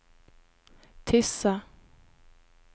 Tysse